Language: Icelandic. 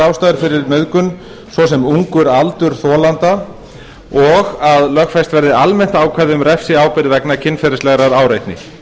fyrir nauðgun svo sem ungur aldur þolanda og að lögfest verði almennt ákvæði um refsiábyrgð vegna kynferðislegrar áreitni